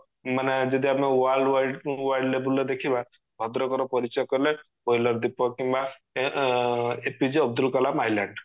ମାନେ ଯଦି ଆମେ world wide world level ର ଦେଖିବା ଭଦ୍ରକ ର ପରିଚୟ କହିଲେ wheeler ଦ୍ଵିପ କିମ୍ବା ଏଁ APJ ଅବଦୁଲକଲାମ island